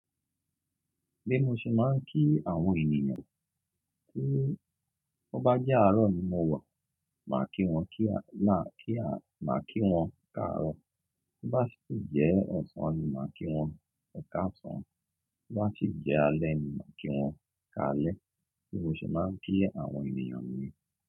Bí mo ṣe máa ń kí àwọn ènìyàn, tó bá jẹ́ àárọ̀ ni mo wọ̀, màá kí wọn kí la kí a máa kí wọn káàárọ̀. Bí bá ti jẹ́ ọ̀sán ni màá kí wọn ekásán, bí bá ti jẹ́ alẹ́ ni màá kí wọn káalẹ́. Bí mo ṣe máa ń kí àwọn ènìyàn ni.